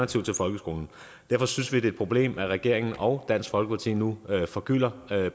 til folkeskolen derfor synes vi er et problem at regeringen og dansk folkeparti nu forgylder